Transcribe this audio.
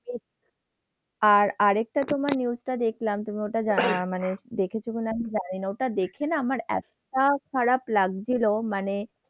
আর আরেকটা তোমার news টা দেখলাম তুমি ওটা যা মানে, ওটা দেখেছো কি না আমি জানি না। ওটা দেখে না আমার এতটা খারাপ লাগছিল মানে,